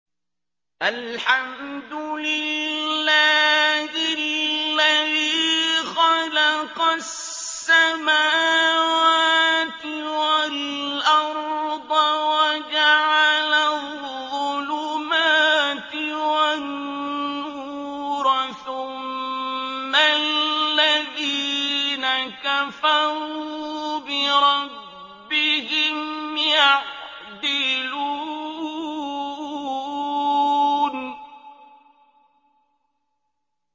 الْحَمْدُ لِلَّهِ الَّذِي خَلَقَ السَّمَاوَاتِ وَالْأَرْضَ وَجَعَلَ الظُّلُمَاتِ وَالنُّورَ ۖ ثُمَّ الَّذِينَ كَفَرُوا بِرَبِّهِمْ يَعْدِلُونَ